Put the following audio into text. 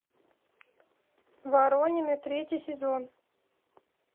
воронины третий сезон